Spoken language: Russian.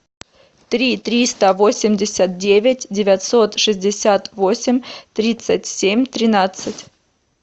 три триста восемьдесят девять девятьсот шестьдесят восемь тридцать семь тринадцать